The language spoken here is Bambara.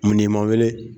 Mun ni ma weele